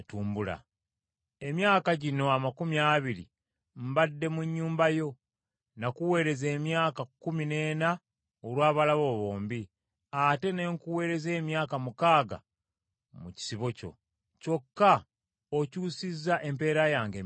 Emyaka gino amakumi abiri mbadde mu nnyumba yo; n’akuweereza emyaka kkumi n’ena olwa bawala bo bombi, ate ne nkuweereza emyaka mukaaga mu kisibo kyo, kyokka okyusizza empeera yange emirundi kkumi.